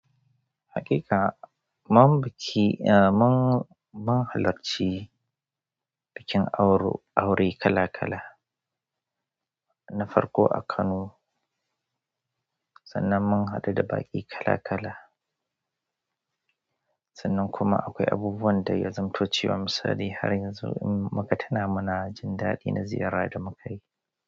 Haƙiƙa, mun biki, eh mun, mun halarci bikin auro, aure kala kala na farko a Kano sannan mun haɗu da baƙi kala kala sannan kuma akwai abubuwan da ya zanto cewa misali idan muka tuna muna jin daɗi na ziyara da mukai.